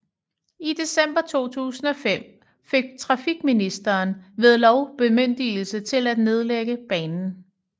I december 2005 fik trafikministeren ved lov bemyndigelse til at nedlægge banen